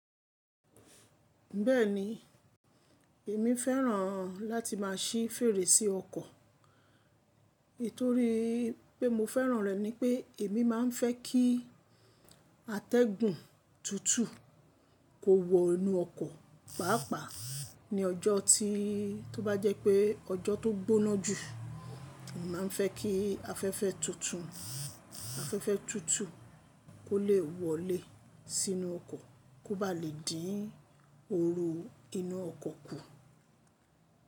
Bẹ́ẹ̀ni, èmi fẹ́ràn láti má a ṣí fèrèsé ọkọ̀. Ètó rí pé mo fẹ́ràn rẹ̀ ni pé èmi má a ń fẹ́ kí atẹ́gùn tútù kó wọ inú ọkọ̀, pàápàá ní ọjọ́ tí tó bá jẹ́ pé ọjọ́ tó gbóná jù, mo má a ń fẹ́ kí afẹ́fẹ́ tútù, afẹ́fẹ́ tútù kó lè wọlé sínú ọkọ̀ kó ba lè dín oru inú ọkọ̀ kù.